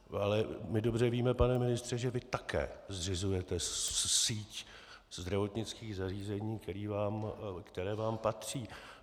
Ale my dobře víme, pane ministře, že vy také zřizujete síť zdravotnických zařízení, která vám patří.